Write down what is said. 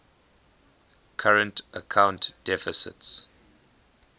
current account deficits